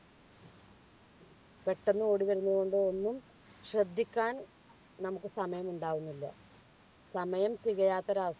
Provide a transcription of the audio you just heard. പെട്ടെന്ന് ഓടി വരുന്നതുകൊണ്ട് ഒന്നും ശ്രദ്ധിക്കാൻ നമുക്ക് സമയം ഉണ്ടാവുന്നില്ല സമയം തികയാത്ത ഒരവസ്ഥ